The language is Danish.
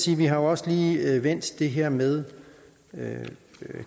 vi har også lige vendt det her med